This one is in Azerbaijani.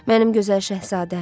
Mənim gözəl şahzadəm.